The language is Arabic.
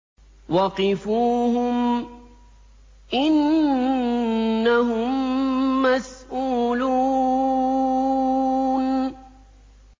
وَقِفُوهُمْ ۖ إِنَّهُم مَّسْئُولُونَ